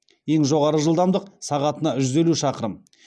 ең жоғары жылдамдық сағатына жүз елу шақырым